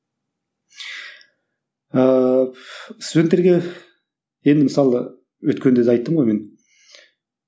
ыыы студенттерге енді мысалы өткенде де айттым ғой мен